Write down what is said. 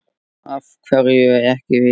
Af hverju ekki við?